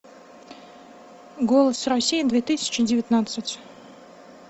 голос россии две тысячи девятнадцать